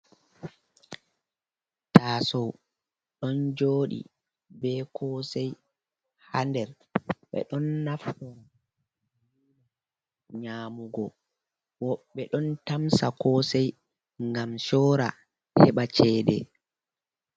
Taasou, ɗon joodi be kosei harder be don naftira. nyamugo woɓɓe don tamsa kosei ngam soora heɓa cheede.